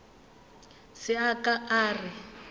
se a ka a re